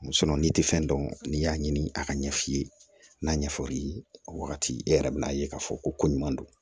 n'i tɛ fɛn dɔn n'i y'a ɲini a ka ɲɛ f'i ye n'a ɲɛ fɔr'i ye o wagati e yɛrɛ bɛn'a ye k'a fɔ ko ɲuman don